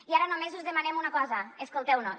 i ara només us demanem una cosa escolteu nos